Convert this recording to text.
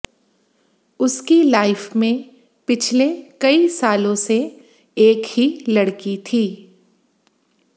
उसकी लाइफ में पिछले कई सालों से एक ही लड़की थी